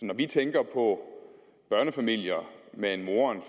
når vi tænker på børnefamilier med en mor